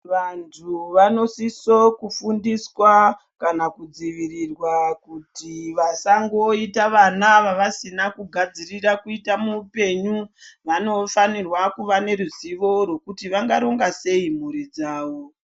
Vantu vanosiso kufundiswa kana kudzivirirwa kuti vasangoita vana vavasina kugadzirira kuita muupenyu vanofanirwa kuva neruzivo rwekuti vangaronga sei mhuri dzavo.